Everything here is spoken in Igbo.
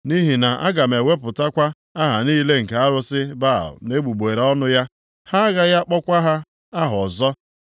Nʼihi na aga m ewepụkwa aha niile nke arụsị Baal nʼegbugbere ọnụ ya, ha gaghị akpọkwa ha aha ọzọ.